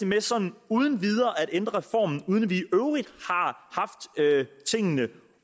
med sådan uden videre at ændre reformen uden at vi i tingene